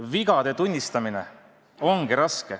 Vigade tunnistamine ongi raske.